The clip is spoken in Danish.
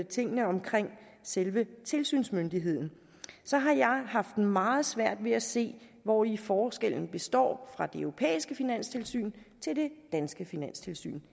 tingene omkring selve tilsynsmyndigheden så har jeg haft meget svært ved at se hvori forskellen består fra det europæiske finanstilsyn til det danske finanstilsyn